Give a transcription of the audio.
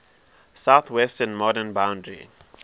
southwestern modern boundary